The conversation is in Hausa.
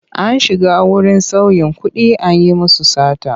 An shiga wurin sauyin kuɗi an yi musu sata.